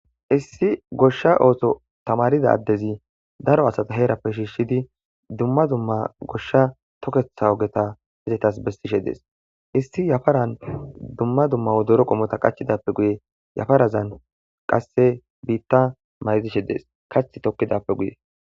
issi goshsha ooso tamarida addezi daro asata heerappe shiishshidi dumma dumma goshsha toketha ogeta hezetas bestishe dees issi yafaran dumma dumma wodero qomota qachidappe guye yafarazan qasse biitta maydishe dees kach tokkidappe guye